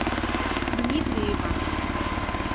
дмитриева